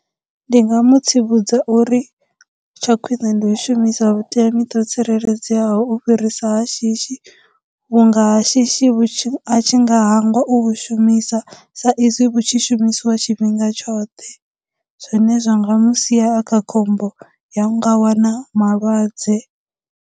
Ndi nga mu tsivhudza uri tsha khwine ndi u shumisa vhuteamiṱa ho tsireledzeaho u fhirisa ha shishi vhunga shishi vhu tshi, a tshi nga hangwa u vhu shumisa sa izwi vhu tshi shumisiwa tshifhinga tshoṱhe, zwine zwa nga mu sia a kha khombo ya u nga wana malwadze.